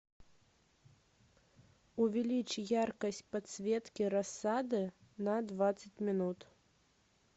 увеличь яркость подсветки рассады на двадцать минут